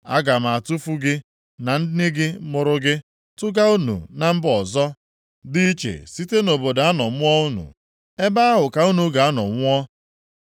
Aga m atụfu gị na nne mụrụ gị, tụga unu na mba ọzọ dị iche site nʼobodo a nọ mụọ unu. Ebe ahụ ka unu ga-anọ nwụọ.